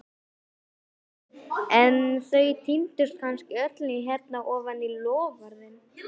Hersir: en þau týndust kannski öll hérna ofan í, loforðin?